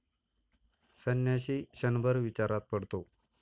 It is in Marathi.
संन्याशी क्षणभर विचारात पडतो.